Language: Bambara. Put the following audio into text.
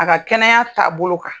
A ka kɛnɛya taabolo kan.